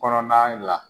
Kɔnɔna la